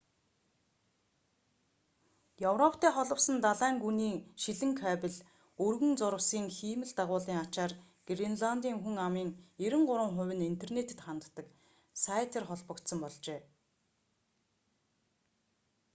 европтой холбосон далайн гүний шилэн кабель өргөн зурвасын хиймэл дагуулын ачаар гренландын хүн амын 93% нь интернетэд ханддаг сайтар холбогдсон болжээ